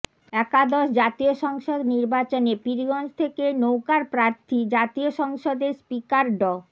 একাদশ জাতীয় সংসদ নির্বাচনে পীরগঞ্জ থেকে নৌকার প্রার্থী জাতীয় সংসদের স্পিকার ড